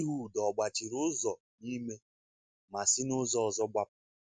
Ịhud ọ̀ gbàchìrì ụzọ n’ime, ma sị n’ụzọ ọzọ gbàpụ?